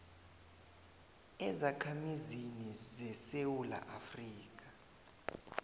ezakhamizini zesewula afrika